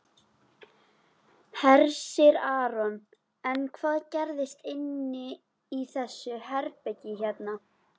Hersir Aron: En hvað gerist inni í þessu herbergi hérna?